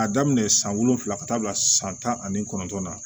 A daminɛ san wolonwula ka taa bila san tan ani kɔnɔntɔn na